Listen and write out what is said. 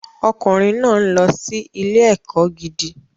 Ọmọkùnrin náà ń lọ sí ilé-ẹ̀kọ́ gidi.